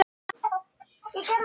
Getur enginn hjálpað þér?